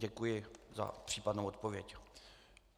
Děkuji za případnou odpověď.